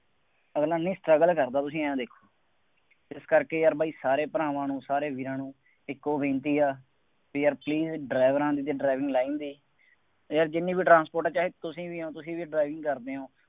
ਅਗਲਾ ਨਹੀਂ struggle ਕਰਦਾ ਤੁਸੀਂ ਆਂਏਂ ਦੇਖੋ, ਇਸ ਕਰਕੇ ਯਾਰ ਬਾਈ ਸਾਰੇ ਭਰਾਵਾਂ ਨੂੰ ਸਾਰੇ ਵੀਰਾਂ ਨੂੰ ਇਕੋ ਬੇਨਤੀ ਆ, ਬਈ ਯਾਰ please ਡਰਾਈਵਰਾਂ ਦੀ ਅਤੇ driving line ਦੀ ਯਾਰ ਜਿੰਨੀ ਵੀ ਟਰਾਂਸਪੋਰਟ, ਚਾਹੇ ਤੁਸੀਂ ਵੀ ਹੋ ਤੁਸੀਂ ਵੀ driving ਕਰਦੇ ਹੋ।